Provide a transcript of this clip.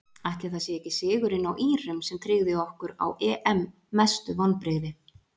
Ætli það sé ekki sigurinn á írum sem tryggði okkur á EM Mestu vonbrigði?